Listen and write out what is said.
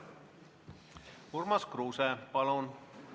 Urmas Kruuse, palun!